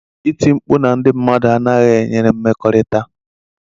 iti mkpu na ndị mmadụ anaghị enyere mmekọrịta.